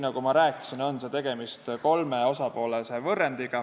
Nagu ma rääkisin, on see kolme osapoolega võrrand.